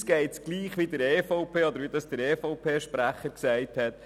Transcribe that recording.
Uns geht es gleich wie der EVP, oder wie es der EVP-Sprecher gesagt hat: